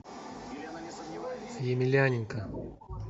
емельяненко